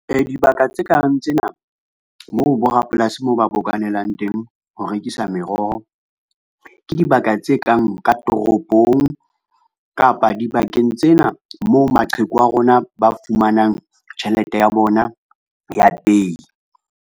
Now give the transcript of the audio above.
Dibaka tse kang tsena, moo borapolasi mo ba bokanelang teng ho rekisa meroho, ke dibaka tse kang ka toropong kapa dibakeng tsena mo maqheku a rona ba fumanang tjhelete ya bona ya pehi.